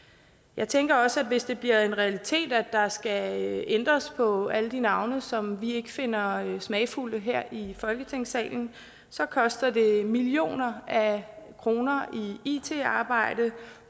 jeg tænker også at hvis det bliver en realitet at der skal ændres på alle de navne som vi ikke finder smagfulde her i folketingssalen så koster det millioner af kroner i it arbejde